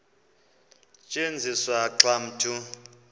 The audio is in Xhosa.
tyenziswa xa umntu